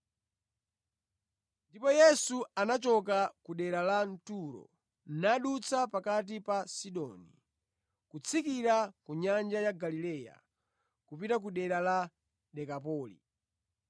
Ndipo Yesu anachoka ku dera la Turo nadutsa pakati pa Sidoni, kutsikira ku nyanja ya Galileya kupita ku dera la Dekapoli.